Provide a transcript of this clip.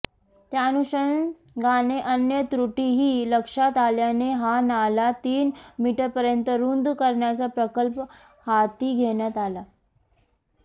त्याअनुषंगाने अन्य त्रुटीही लक्षात आल्याने हा नाला तीन मीटरपर्यंत रुंद करण्याचा प्रकल्प हाती घेण्यात आला